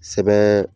Sɛbɛn